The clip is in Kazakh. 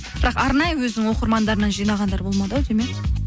бірақ арнайы өзінің оқырмандарынан жинағандар болмады ау деймін иә